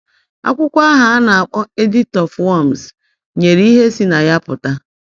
Akwụkwọ ahụ a na-akpọ Edict of Worms nyere ihe si na ya pụta.